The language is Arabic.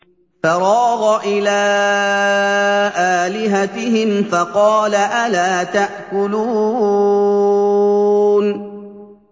فَرَاغَ إِلَىٰ آلِهَتِهِمْ فَقَالَ أَلَا تَأْكُلُونَ